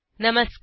नमस्कार